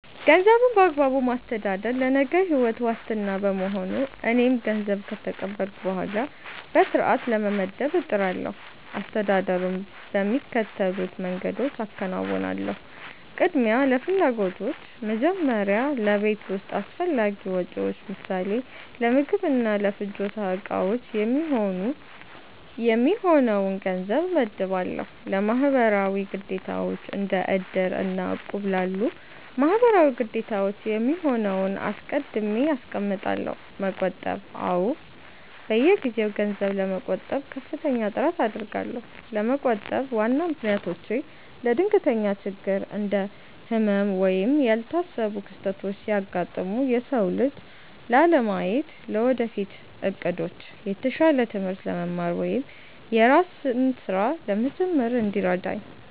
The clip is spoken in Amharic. ገንዘብን በአግባቡ ማስተዳደር ለነገው ሕይወት ዋስትና በመሆኑ፣ እኔም ገንዘብ ከተቀበልኩ በኋላ በሥርዓት ለመመደብ እጥራለሁ። አስተዳደሩን በሚከተሉት መንገዶች አከናውናለሁ፦ ቅድሚያ ለፍላጎቶች፦ መጀመሪያ ለቤት ውስጥ አስፈላጊ ወጪዎች (ለምሳሌ ለምግብና ለፍጆታ ዕቃዎች) የሚሆነውን ገንዘብ እመድባለሁ። ለማህበራዊ ግዴታዎች፦ እንደ "እድር" እና "እቁብ" ላሉ ማህበራዊ ግዴታዎች የሚሆነውን አስቀድሜ አስቀምጣለሁ። መቆጠብ፦ አዎ፣ በየጊዜው ገንዘብ ለመቆጠብ ከፍተኛ ጥረት አደርጋለሁ። ለመቆጠብ ዋና ምክንያቶቼ፦ ለድንገተኛ ችግር፦ እንደ ህመም ወይም ያልታሰቡ ክስተቶች ሲያጋጥሙ የሰው እጅ ላለማየት። ለወደፊት ዕቅዶች፦ የተሻለ ትምህርት ለመማር ወይም የራስን ሥራ ለመጀመር እንዲረዳኝ።